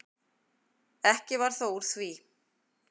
Ekki varð þó úr því.